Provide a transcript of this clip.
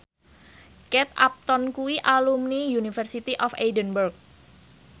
Kate Upton kuwi alumni University of Edinburgh